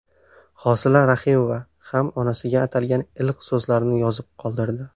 Hosila Rahimova ham onasiga atalgan iliq so‘zlarini yozib qoldirdi.